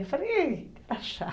Eu falei, está chato.